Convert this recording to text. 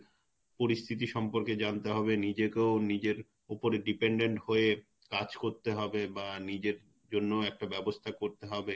পরিস্থিতি সম্পর্কে জানতে হবে নিজেকেও নিজের ওপরে Depended হয়ে কাজ করতে হবে বা নিজের জন্যও একটা ব্যবস্থা করতে হবে .